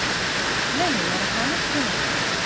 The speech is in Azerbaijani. Mən də yaraqlanıb köməyinə gəlirəm.